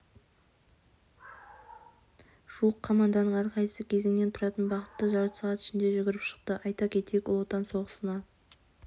жуық команданың әрқайсысы кезеңнен тұратын бағытты жарты сағат ішінде жүгіріп шықты айта кетейік ұлы отан соғысына